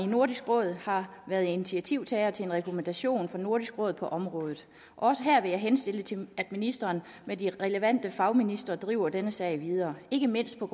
nordisk råd har været initiativtager til en rekommandation fra nordisk råd på området også her vil jeg henstille til at ministeren med de relevante fagministre driver denne sag videre ikke mindst på